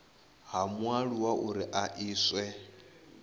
ha mualuwa uri a iswe